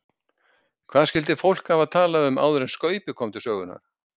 Hvað skyldi fólk hafa talað um áður en Skaupið kom til sögunnar?